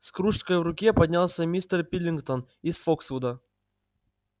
с кружкой в руке поднялся мистер пилкингтон из фоксвуда